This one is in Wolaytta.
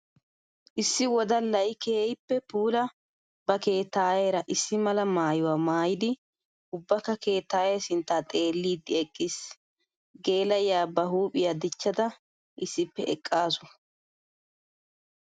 Issi wodallay keehippe puula ba keettayera issi mala maayuwa maayiddi ubbakka keettaye sintta xeeliddi eqqiis. Geela'iya ba huuphiya dichchadda issippe eqqasu.